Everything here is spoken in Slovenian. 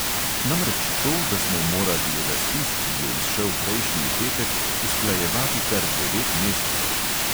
Namreč to, da smo morali razpis, ki je izšel prejšnji petek, usklajevati kar devet mesecev ...